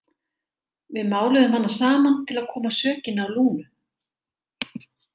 Við máluðum hana saman til að koma sökinni á Lúnu.